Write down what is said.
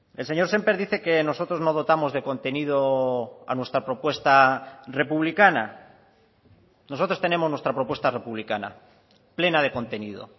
el señor sémper dice que nosotros no dotamos de contenido a nuestra propuesta republicana nosotros tenemos nuestra propuesta republicana plena de contenido